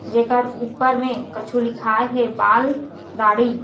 जेकर ऊपर में कछु लिखाए हे बाल दाढ़ी --